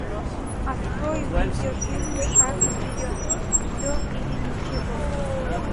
открой видеофильм шаг вперед все или ничего